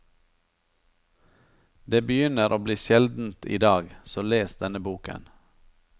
Det begynner å bli sjeldent idag, så les denne boken.